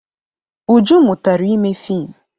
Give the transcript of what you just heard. Uju mụtara ime fiim.